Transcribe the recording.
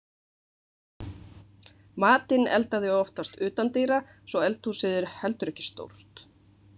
Matinn elda þau oftast utandyra svo eldhúsið er heldur ekki stórt.